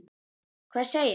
Hvað segirðu?